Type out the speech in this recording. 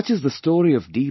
Such is the story of D